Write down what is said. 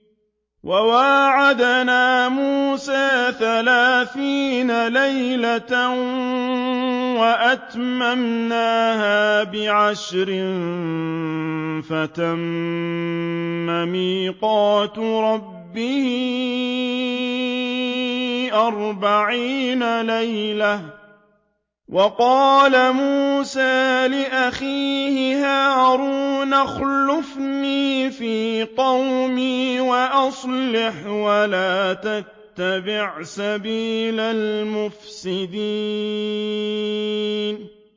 ۞ وَوَاعَدْنَا مُوسَىٰ ثَلَاثِينَ لَيْلَةً وَأَتْمَمْنَاهَا بِعَشْرٍ فَتَمَّ مِيقَاتُ رَبِّهِ أَرْبَعِينَ لَيْلَةً ۚ وَقَالَ مُوسَىٰ لِأَخِيهِ هَارُونَ اخْلُفْنِي فِي قَوْمِي وَأَصْلِحْ وَلَا تَتَّبِعْ سَبِيلَ الْمُفْسِدِينَ